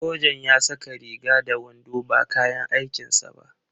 Sojan ya saka riga da wando ba kayan aikin sa ba.